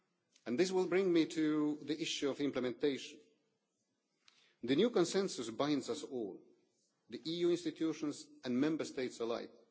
And this will bring me to the issue of implementation. The new consensus binds us all, the EU institutions and Member States alike.